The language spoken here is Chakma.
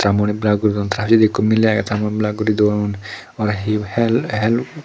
tara mu ani blur guri don tara pejeidi ikko miley agey ta moun blur guri don aro he